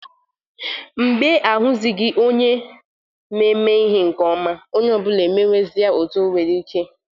Mgbe a huzighi onye na-eme ihe nke oma onye obula emewezia otu o nwere ike.